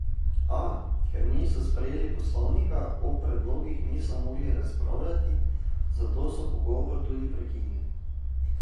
A, ker niso sprejeli poslovnika, o predlogih niso mogli razpravljati, zato so pogovor tudi prekinili.